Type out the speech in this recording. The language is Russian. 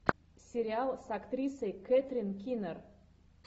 сериал с актрисой кэтрин кинер